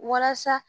Walasa